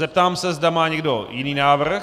Zeptám se, zda má někdo jiný návrh.